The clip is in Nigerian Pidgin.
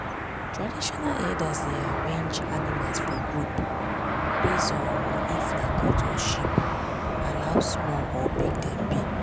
traditional herders dey arrange animal for groups based on if na goat or sheep and how small or big dem be.